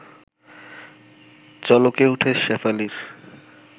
চলকে ওঠে শেফালির